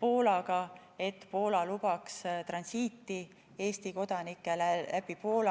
Poolaga, et Poola lubaks transiiti Eesti kodanikele läbi Poola.